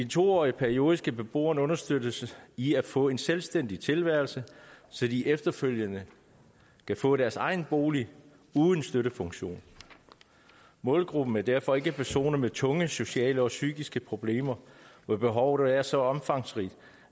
to årige periode skal beboerne understøttes i at få en selvstændig tilværelse så de efterfølgende kan få deres egen bolig uden støttefunktion målgruppen er derfor ikke personer med tunge sociale og psykiske problemer hvor behovet er så omfangsrigt